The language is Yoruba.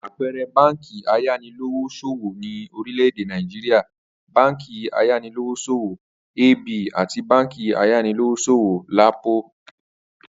Àpe̩e̩re̩ báǹkì ayanilówós̩òwò ní orílè̩-èdè Nàìjíríà báǹkì ayanilówós̩òwò AB àti báǹkì ayanilówós̩òwò LAPO